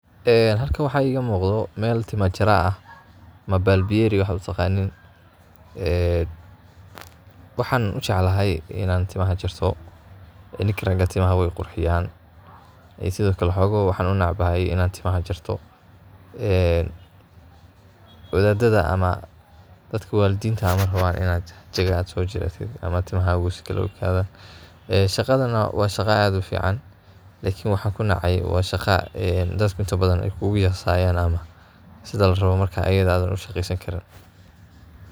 Een halkan waxa igamuqdo mel timo jara ah ama bal biyeri waxad utaqanin. Waxan ujeclahy inan timaha jarto ee nika raga ah timaha way qurxiyan ,en sidhiokale xogo waxan unec bahay inan timaha jarto, wadhada ama dadka waladinta ma raban inad jago sojaratit ama timahaga sikale uu ekadan. Shaqadan ana wa shaqo ad ufican, lakin waxan kunacay wa shaqo dadka inta badhan ayay kugu yasayan sidaa larabaa ayada marka adhan ushaqesani karin.